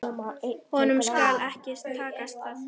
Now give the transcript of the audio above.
Honum skal ekki takast það!